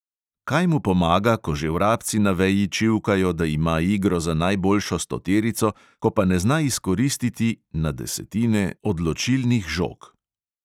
Kaj mu pomaga, ko že vrabci na veji čivkajo, da ima igro za najboljšo stoterico, ko pa ne zna izkoristiti (na desetine) odločilnih žog.